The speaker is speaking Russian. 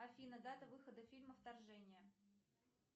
афина дата выхода фильма вторжение